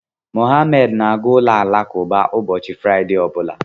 Mohammed na-aga ụlọ alakụba ụbọchị Fraịde ọ bụla.